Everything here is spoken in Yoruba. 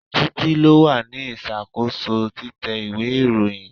Títí lo wà ní ìṣàkóso títẹ ìwé ìròyìn.